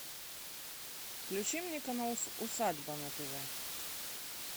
включи мне канал усадьба на тв